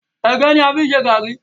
Ẹ̀gẹ́ ní a fi ń ṣe gàrí.